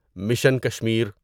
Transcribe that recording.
mission Kashmir